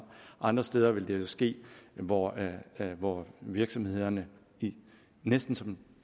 andre steder vil det jo ske hvor hvor virksomhederne næsten som